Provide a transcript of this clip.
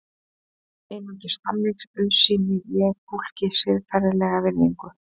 Einungis þannig auðsýni ég fólki siðferðilega virðingu.